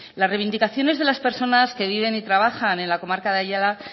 las reivindicaciones de las personas que viven y trabajan en la comarca de ayala